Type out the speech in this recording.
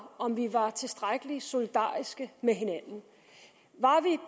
om vi var tilstrækkelig solidariske med hinanden